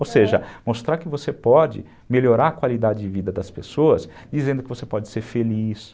Aham, ou seja, mostrar que você pode melhorar a qualidade de vida das pessoas dizendo que você pode ser feliz.